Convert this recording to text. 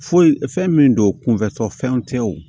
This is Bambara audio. Foyi fɛn min don kunfɛtɔfɛnw tɛw